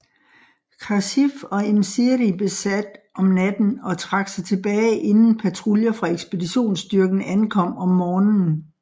Khasif og Im Siri besat om natten og trak sig tilbage inden patruljer fra ekspeditionsstyrken ankom om morgenen